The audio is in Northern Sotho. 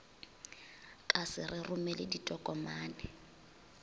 ka se re romele ditokomane